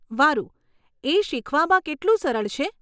વારુ, એ શીખવામાં કેટલું સરળ છે?